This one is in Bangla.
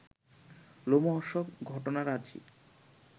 লোমহর্ষক ঘটনারাজি